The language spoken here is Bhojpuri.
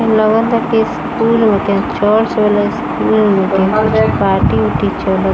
लगत हौ के स्कूल हौ के चर्च वाला स्कूल हौके पार्टी-वार्टी चलत--